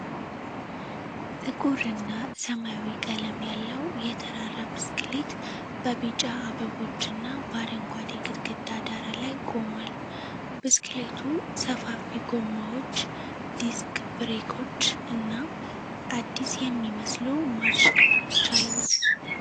ጥቁር እና ሰማያዊ ቀለም ያለው የተራራ ብስክሌት በቢጫ አበቦች እና በአረንጓዴ ግድግዳ ዳራ ላይ ቆሟል። ብስክሌቱ ሰፋፊ ጎማዎች፣ ዲስክ ብሬኮች እና አዲስ የሚመስሉ ማርሽ ክፍሎች አሉት።